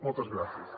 moltes gràcies